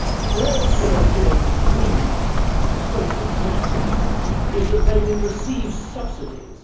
Their European dream, to quote the Commissioner, is that they will receive subsidies.